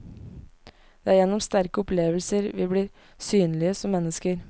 Det er gjennom sterke opplevelser vi blir synlige som mennesker.